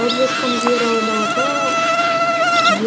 алып жатқан жер аумағы